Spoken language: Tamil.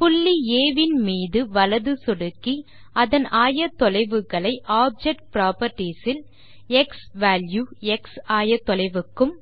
புள்ளி ஆ வின் மீது வலது சொடுக்கி அதன் ஆயத்தொலைவுகளை ஆப்ஜெக்ட் புராப்பர்ட்டீஸ் இல் க்ஸ்வால்யூ X ஆயத்தொலைவுக்கும்